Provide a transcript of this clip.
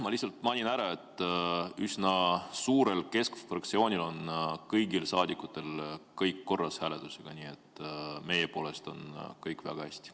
Ma lihtsalt mainin, et üsna suures Keskerakonna fraktsioonis on kõigil saadikutel hääletusega kõik korras, nii et meie poolest on kõik väga hästi.